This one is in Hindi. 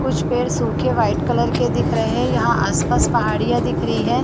कुछ पेड़ सूखे वाइट कलर के दिख रहे है यहाँ आस-पास पहाड़ियाँ दिख रही है।